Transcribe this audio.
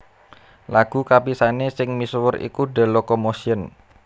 Lagu kapisané sing misuwur iku The Locomotion